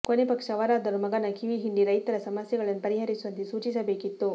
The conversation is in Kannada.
ಕೊನೆ ಪಕ್ಷ ಅವರಾದರೂ ಮಗನ ಕಿವಿ ಹಿಂಡಿ ರೈತರ ಸಮಸ್ಯೆಗಳನ್ನು ಪರಿಹರಿಸುವಂತೆ ಸೂಚಿಸಬೇಕಿತ್ತು